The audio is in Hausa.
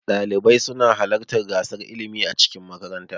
Ɗalibai suna halarta gasar ilmi a cikin makaranta.